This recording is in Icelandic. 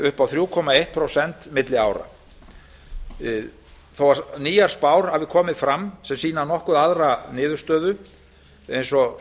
upp á þrjú komma eitt prósent milli ára þó að nýjar spár hafi komið fram sem sýna nokkuð aðra niðurstöðu eins og